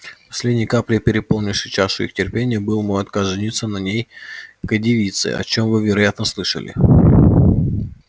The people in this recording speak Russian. последней каплей переполнившей чашу их терпения был мой отказ жениться на некоей девице о чем вы вероятно слышали